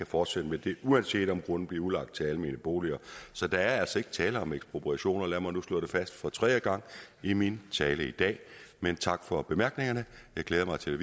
fortsætte med det uanset om grunden bliver udlagt til almene boliger så der er altså ikke tale om ekspropriationer lad mig nu slå det fast for tredje gang i min tale i dag men tak for bemærkningerne jeg glæder mig til